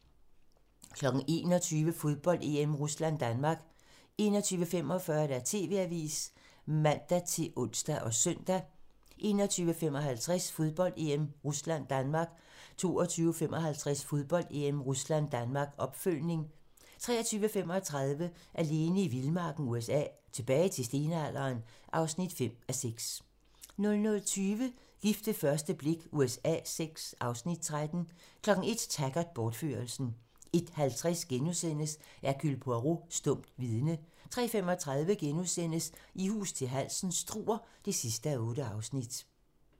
21:00: Fodbold: EM - Rusland-Danmark 21:45: TV-avisen (man-ons og søn) 21:55: Fodbold: EM - Rusland-Danmark 22:55: Fodbold: EM - Rusland-Danmark, opfølgning 23:35: Alene i vildmarken USA: Tilbage til stenalderen (5:6) 00:20: Gift ved første blik USA VI (Afs. 13) 01:00: Taggart: Bortførelsen 01:50: Hercule Poirot: Stumt vidne * 03:35: I hus til halsen - Struer (8:8)*